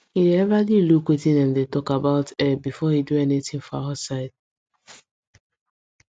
he dey everly look wetin dem talk about air before e do anything for outside